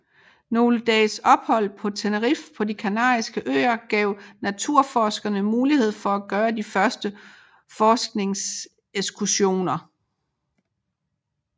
Nogle dages ophold på Tenerife på de Kanariske Øer gav naturforskerne mulighed for at gøre de første forskningsekskursioner